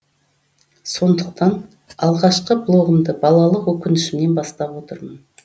сондықтан алғашқы блогымды балалық өкінішімнен бастап отырмын